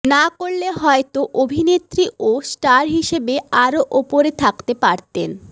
না করলে হয়তো অভিনেত্রী ও স্টার হিসেবে আরও ওপরে থাকতে পারতেন